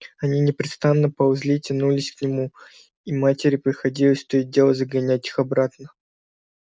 они непрестанно ползли и тянулись к нему и матери приходилось то и дело загонять их обратно